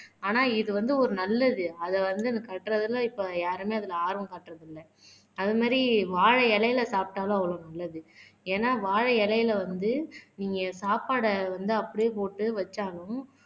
ஆனா இது வந்து ஒரு நல்லது அத வந்து இந்த கட்டுறதுல இப்ப யாருமே அதுல ஆர்வம் காட்டுறது இல்ல. அது மாதிரி வாழை இலையில சாப்பிட்டாலும் அவ்வளவு நல்லது ஏன்னா வாழை இலையில வந்து நீங்க சாப்பாடை வந்து அப்படியே போட்டு வச்சாலும்